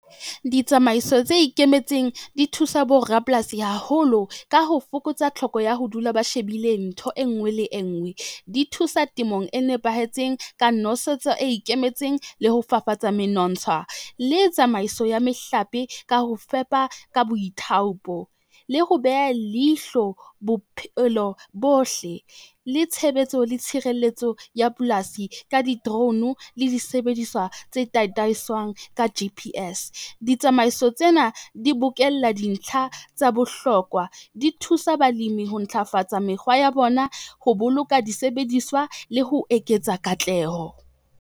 Ditsamaiso tse ikemetseng di thusa borapolasi haholo, ka ho fokotsa tlhoko ya ho dula ba shebile ntho e ngwe le e ngwe. Di thusa temong e nepahetseng ka nosetso e ikemetseng le ho fafatsa menontsha le tsamaiso ya mehlape, ka ho fepa ka boithaopo. Le ho beha leihlo bophelo bohle, le tshebetso le tshireletso ya polasi ka di-drone le disebediswa tse tataiswang ka G_P_S. Ditsamaiso tsena di bokella dintlha tsa bohlokwa, di thusa balimi ho ntlafatsa mekgwa ya bona ho boloka disebediswa le ho eketsa katleho.